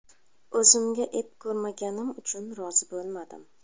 O‘zimga ep ko‘rmaganim uchun rozi bo‘lmadim.